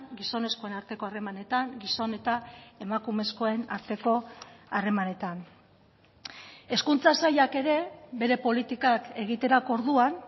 gizonezkoen arteko harremanetan gizon eta emakumezkoen arteko harremanetan hezkuntza sailak ere bere politikak egiterako orduan